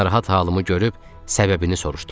Narahat halımı görüb səbəbini soruşdular.